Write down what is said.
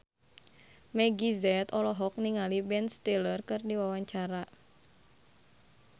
Meggie Z olohok ningali Ben Stiller keur diwawancara